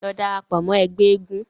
Lọ darapọ̀ mọ́ ẹgbẹ́ eégún.